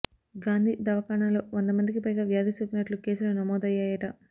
గాంధీ దవాఖానలో వంద మందికి పైగా వ్యాధి సోకినట్లు కేసులు నమోదయ్యాయట